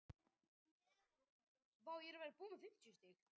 Franski barokkstíllinn er á margan hátt yfirvegaðri en sá ítalski.